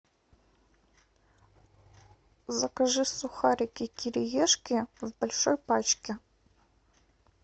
закажи сухарики кириешки в большой пачке